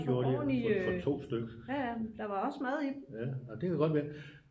Det gjorde de ja for 2 styks ja det kan godt være